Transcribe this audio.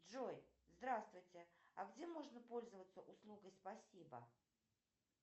джой здравствуйте а где можно пользоваться услугой спасибо